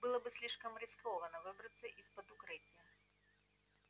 было бы слишком рискованно выбраться из-под укрытия